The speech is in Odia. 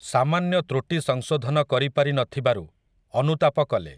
ସାମାନ୍ୟ ତୃଟି ସଂଶୋଧନ କରିପାରି ନଥିବାରୁ, ଅନୁତାପ କଲେ ।